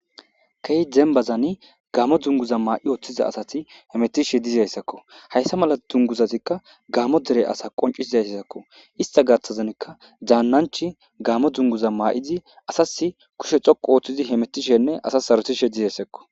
Kehi dembazani gaamo dunguza maa7i ooththiza asati hemetishe diziayssakko hayssa mala dunguzatikka gaamo dere asa qoncisizayssakko ista gaththazanka dzaannanch gaamo dzunguza maa7izi asas kushe xoqu ooththizi hemetishenne asa sarotishe dizayssakko